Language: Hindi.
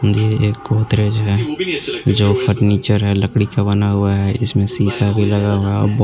यह एक गोदरेज है जो फर्नीचर है लड़की का बना हुआ है इसमे सीसा भी लगा हुआ है और बहोत --